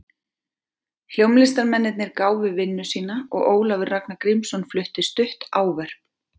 Hljómlistarmennirnir gáfu vinnu sína og Ólafur Ragnar Grímsson flutti stutt ávörp.